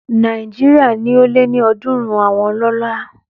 Nàìjíríà ní ó lé ní ọ̀dúrún àwọn ọlọ́lá